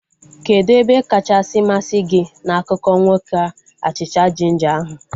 Kedụ ebe kacha masị gị na akụkọ nwoke achịcha jinja ahu?